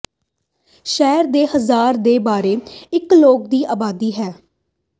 ਸ਼ਹਿਰ ਦੇ ਹਜ਼ਾਰ ਦੇ ਬਾਰੇ ਇੱਕ ਲੋਕ ਦੀ ਆਬਾਦੀ ਹੈ